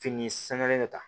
Fini sangalen de ta